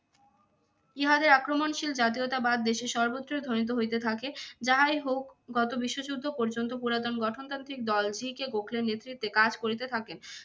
ইহাদের আক্রমণশীল জাতীয়তাবাদ দেশের সর্বত্রই ধ্বনিত হইতে থাকে যাহাই হোক গত বিশ্বযুদ্ধ পর্যন্ত পুরাতন গঠনতান্ত্রিক দল জি কে গোখলের নেতৃত্বে কাজ করিতে থাকেন।